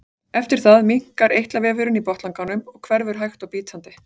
eftir það minnkar eitlavefurinn í botnlanganum og hverfur hægt og bítandi